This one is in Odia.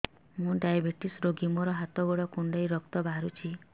ମୁ ଡାଏବେଟିସ ରୋଗୀ ମୋର ହାତ ଗୋଡ଼ କୁଣ୍ଡାଇ ରକ୍ତ ବାହାରୁଚି